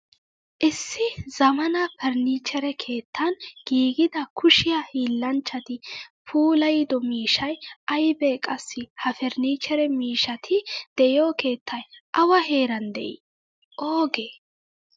Issi zammaana furnichchere keettan giigida kushiya hiillanchchati puulayido miishshay aybe Qassi ha furnichchere miishshati deiyo keettay awa heeran de'i? Oogee?